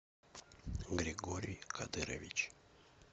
григорий кадырович